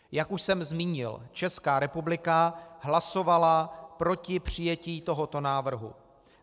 Jak už jsem zmínil, Česká republika hlasovala proti přijetí tohoto návrhu.